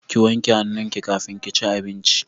Ki wanke hannun ki kafin kici abincin